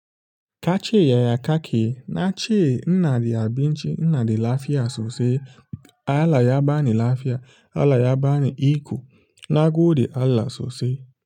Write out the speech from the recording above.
Kace yaya kake, na ce ina da abinci, ina da lafiya sosai. Allah ya bani lafiya, Allah ya bani iko, na gode Allah sosai.